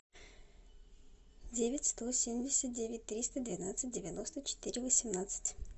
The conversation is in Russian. девять сто семьдесят девять триста двенадцать девяносто четыре восемнадцать